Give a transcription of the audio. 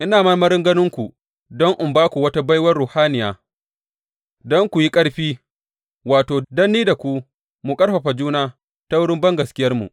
Ina marmarin ganinku don in ba ku wata baiwar ruhaniya, don ku yi ƙarfi wato, don ni da ku mu ƙarfafa juna ta wurin bangaskiyarmu.